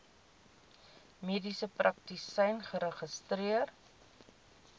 mediese praktisyn geregistreer